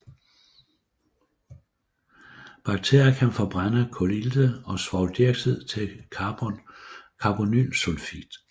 Bakterier kan forbrænde kulilte og svovldioxid til carbonylsulfid